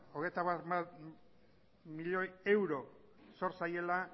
hogeita hamar milioi euro zor zaiela